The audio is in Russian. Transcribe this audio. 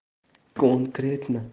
конкретно